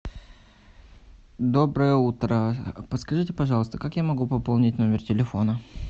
доброе утро подскажите пожалуйста как я могу пополнить номер телефона